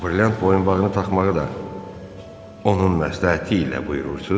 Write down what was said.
Brilliant boyunbağını taxmağı da onun məsləhəti ilə buyurursunuz?